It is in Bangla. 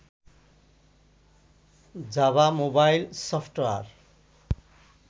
Java mobile software